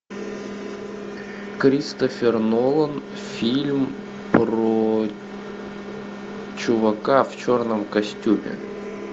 кристофер нолан фильм про чувака в черном костюме